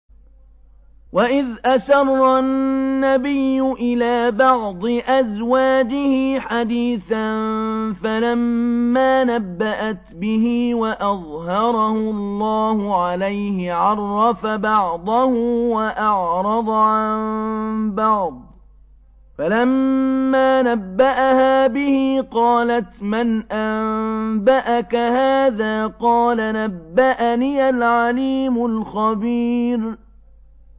وَإِذْ أَسَرَّ النَّبِيُّ إِلَىٰ بَعْضِ أَزْوَاجِهِ حَدِيثًا فَلَمَّا نَبَّأَتْ بِهِ وَأَظْهَرَهُ اللَّهُ عَلَيْهِ عَرَّفَ بَعْضَهُ وَأَعْرَضَ عَن بَعْضٍ ۖ فَلَمَّا نَبَّأَهَا بِهِ قَالَتْ مَنْ أَنبَأَكَ هَٰذَا ۖ قَالَ نَبَّأَنِيَ الْعَلِيمُ الْخَبِيرُ